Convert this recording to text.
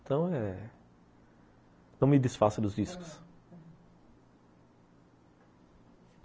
Então eh não me desfaça dos discos.